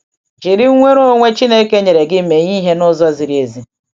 Jiri nnwere onwe Chineke nyere gị mee ihe n’ụzọ ziri ezi.